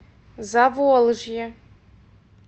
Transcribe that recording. заволжье